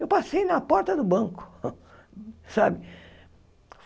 Eu passei na porta do banco, sabe?